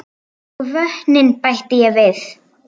Og vötnin bætti ég við.